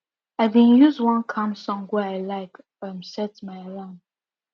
i been use one calm song wey i like um set my alarm